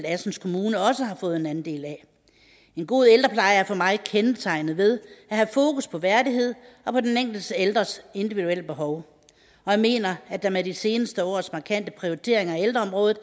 assens kommune også har fået en andel af en god ældrepleje er for mig kendetegnet ved at have fokus på værdighed og på den enkelte ældres individuelle behov og jeg mener at der med de seneste års markante prioriteringer af ældreområdet